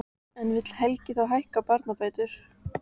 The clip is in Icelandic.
En vill Helgi þá hækka barnabætur?